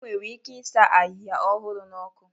Enwere ike ịsa ahịhịa ọhụrụ n'ọkụ